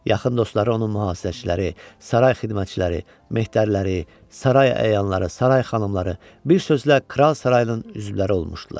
Yaxın dostları onun mühasirəçiləri, saray xidmətçiləri, mehddəriləri, saray əyanları, saray xanımları, bir sözlə, kral sarayının üzvləri olmuşdular.